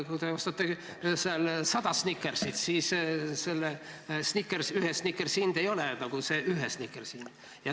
Kui te ostate 100 Snickersit, siis ühe Snickersi hind ei ole, nagu muidu on ühe Snickersi hind.